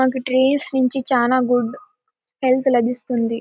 మనకి ట్రీస్ నుంచి చాలా గుడ్ హెల్త్ లభిస్తుంది.